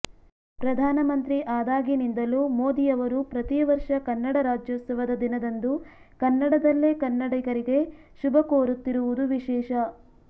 ಪ್ರಧಾನ ಮಂತ್ರಿ ಆದಾಗಿನಿಂದಲೂ ಮೋದಿ ಅವರು ಪ್ರತಿ ವರ್ಷ ಕನ್ನಡ ರಾಜ್ಯೋತ್ಸವದ ದಿನದಂದು ಕನ್ನಡದಲ್ಲೇ ಕನ್ನಡಿಗರಿಗೆ ಶುಭ ಕೋರುತ್ತಿರುವುದು ವಿಶೇಷ